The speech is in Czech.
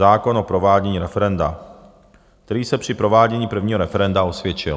Zákon o provádění referenda, který se při provádění prvního referenda osvědčil.